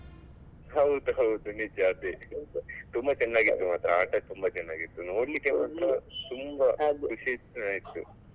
ಹೌದೌದು ನಿಜ ಅದೇ ತುಂಬಾ ಚೆನ್ನಾಗಿತ್ತು ಮಾತ್ರ ಆಟ ತುಂಬಾ ಚೆನ್ನಾಗಿತ್ತು ನೋಡ್ಲಿಕ್ಕೆ ಮಾತ್ರ ತುಂಬಾ ಖುಷಿಸ ಆಯ್ತು.